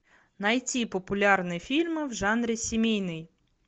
найти популярные фильмы в жанре семейный